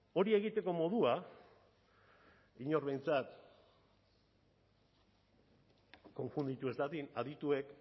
hori egiteko modua inor behintzat konfunditu ez dadin adituek